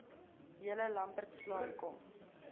julle lambertsbaai kom